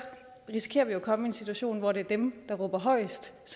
risikerer vi jo at komme i en situation hvor det er dem der råber højest